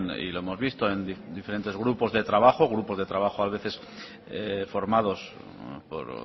y lo hemos visto en diferentes grupos de trabajo grupos de trabajo a veces formados por